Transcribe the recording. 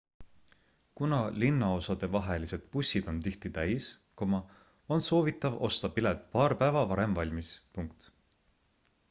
kuna linnaosadevahelised bussid on tihti täis on soovitav osta pilet paar päeva varem valmis